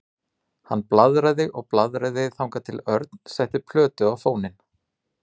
Hann blaðraði og blaðraði þangað til Örn setti plötu á fóninn.